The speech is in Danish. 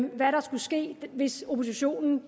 hvad der skulle ske hvis oppositionen